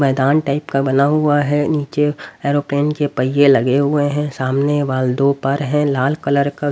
मैदान टाइप का बना हुआ है नीचे एरोप्लेन के पहिए लगे हुए हैं सामने वाल दो पर हैं लाल कलर का--